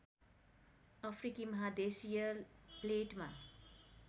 अफ्रिकी महादेशीय प्लेटमा